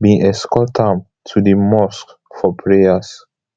bin escort am to di mosque for prayers